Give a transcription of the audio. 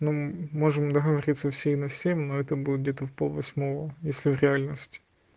ну можем договориться все на семь но это будет где-то в пол восьмого если в реальности